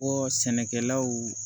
Bɔ sɛnɛkɛlaw